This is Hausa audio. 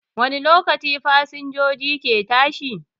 Wani lokaci fasinjoji ke tashi?